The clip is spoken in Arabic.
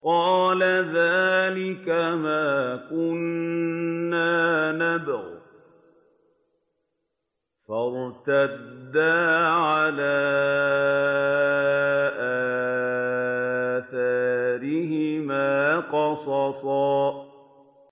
قَالَ ذَٰلِكَ مَا كُنَّا نَبْغِ ۚ فَارْتَدَّا عَلَىٰ آثَارِهِمَا قَصَصًا